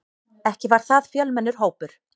Ekki var það fjölmennur hópur.